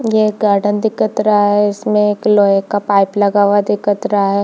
ये एक गार्डन दिखत रहा है इसमें एक लोहे का पाइप लगा हुआ दिखत रहा है।